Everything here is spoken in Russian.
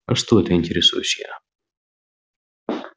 а что это интересуюсь я